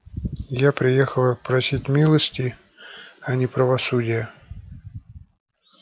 я приехала просить милости а не правосудия